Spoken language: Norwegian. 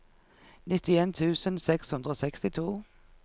nittien tusen seks hundre og sekstito